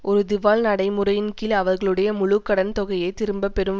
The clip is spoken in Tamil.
ஒரு திவால் நடைமுறையின் கீழ் அவர்களுடைய முழு கடன் தொகையைத் திரும்ப பெறும்